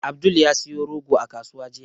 Abdul ya siyo rogo a kasuwa jiya.